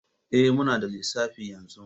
Eh, muna da lissafi yanzu